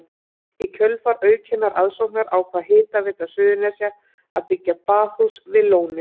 Í kjölfar aukinnar aðsóknar ákvað Hitaveita Suðurnesja að byggja baðhús við lónið.